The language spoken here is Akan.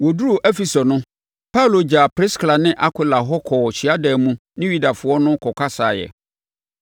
Wɔduruu Efeso no, Paulo gyaa Priskila ne Akwila hɔ kɔɔ hyiadan mu ne Yudafoɔ no kɔkasaeɛ.